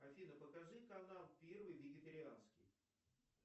афина покажи канал первый вегетарианский